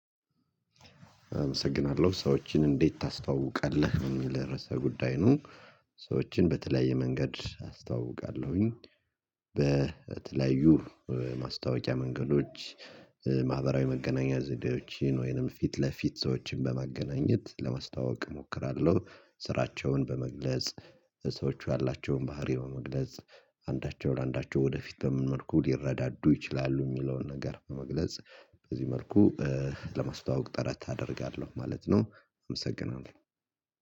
አመሰግናለሁ ሰዎችን እንዴት ታስተዋውቃለህ የሚል ርዕሰ ጉዳይ ነው? ሰዎችን በተለያየ መንገድ አስተዋውቃለሁኝ። በተለያዩ ማስታወቂያ መንገዶች ማህበራዊ መገናኛ ዘዴዎችን ወይንም ፊት ለፊት ሰዎችን በማገናኘት ለማስታወቅ እሞክራለሁ። ስራቸውን በመግለጽ ሰዎች ያላቸውን ባህሪ በመግለጽ አንዳቸውን አንዳቸው ወደፊት ብዙ ሊረዳዱ ይችላሉ የሚለውን ነገር በመግለጽ በዚህ መርኩ። ለማስተዋወቅ ጥረት አደርጋለሁ ማለት ነው። አመሰግናለሁ።